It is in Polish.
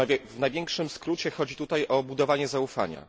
W największym skrócie chodzi tutaj o budowanie zaufania.